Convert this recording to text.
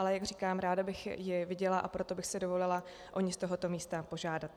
Ale jak říkám, ráda bych ji viděla, a proto bych si dovolila o ni z tohoto místa požádat.